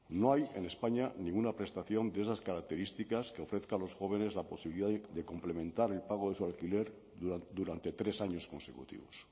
no hay en españa ninguna prestación de esas características que ofrezca a los jóvenes la posibilidad de complementar el pago de su alquiler durante tres años consecutivos